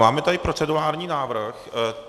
Máme tady procedurální návrh.